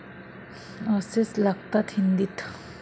असेच लागतात हिंदीत.